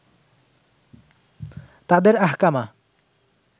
তাদের আহকামা